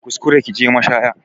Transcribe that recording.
Kar ki kuskura ki je mashaya